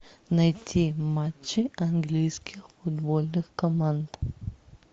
найти матчи английских футбольных команд